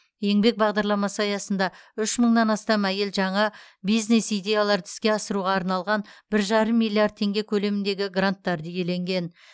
еңбек бағдарламасы аясында үш мыңнан астам әйел жаңа бизнес идеяларды іске асыруға арналған бір жарым миллиард теңге көлеміндегі гранттарды иеленген